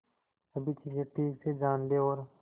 सभी चीजें ठीक से जान ले और